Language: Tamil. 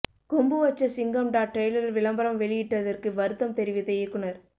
கொம்பு வச்ச சிங்கம்டா டிரெய்லர் விளம்பரம் வெளியிட்டதற்கு வருத்தம் தெரிவித்த இயக்குனர்